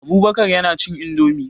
Abubakar yana cin indomie.